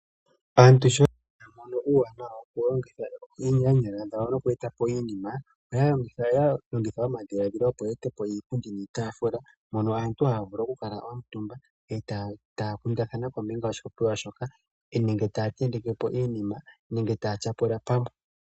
Aantu sho ya mono uuwanawa woku longitha oonyala dhawo noku eta po iinima, oya longitha omadhiladhilo, opo ye ete po iipundi niitaafula hono aantu haya vulu oku kuutumba e taya kundathana kombinga yoshikundathanwa nenge taya tenteke po iinima nenge taya tyapula pamwe.